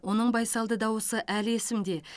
оның байсалды дауысы әлі есімде